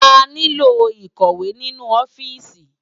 Àniló ikòwé ninú òfìsí